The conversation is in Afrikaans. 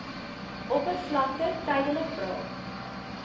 oppervlakte tydelik braak